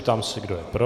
Ptám se, kdo je pro.